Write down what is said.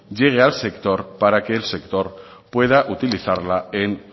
llegue al sector para que el sector pueda utilizarla en